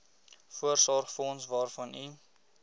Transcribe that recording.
voorsorgsfonds waarvan u